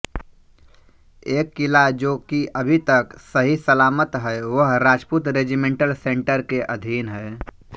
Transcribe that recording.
एक किला जो कि अभी तक सहीसलामत है वह राजपूत रेजीमेंटल सेंटर के अधीन है